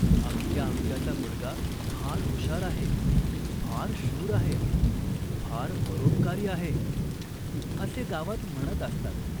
अमक्या अमक्याचा मुलगा फार हुशार आहे, फार शूर आहे, फार परोपकारी आहे, असे गावात म्हणत असतात.